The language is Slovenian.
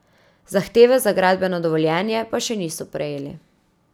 Zahteve za gradbeno dovoljenje pa še niso prejeli.